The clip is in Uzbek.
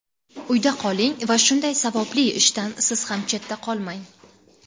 Uyda qoling va shunday savobli ishdan siz ham chetda qolmang.